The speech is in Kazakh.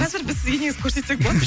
қазір біз сізге негізі көрсетсек болады